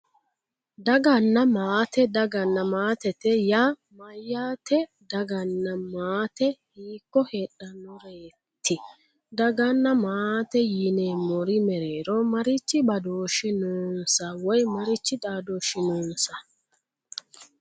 Daganna maate daganna maatete yaa mayyate daganna maate hiikko heedhannoreeti daganna maate yineemmori mereero marichi badooshshi noonsa woyi marichi xaadooshshi noonsa